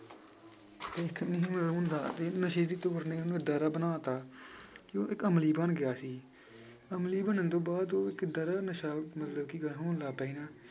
ਨਸ਼ੇ ਦੀ ਤੋੜ ਨੇ ਉਹਨੂੰ ਏਦਾਂ ਦਾ ਬਣਾ ਦਿੱਤਾ ਕਿ ਉਹ ਇੱਕ ਅਮਲੀ ਬਣ ਗਿਆ ਸੀ ਅਮਲੀ ਬਣਨ ਤੋਂ ਬਾਅਦ ਉਹ ਇੱਕ ਏਦਾਂ ਦਾ ਨਸ਼ਾ ਮਤਲਬ ਕ~ ਹੋਣ ਲੱਗ ਪਿਆ ਸੀ ਨਾ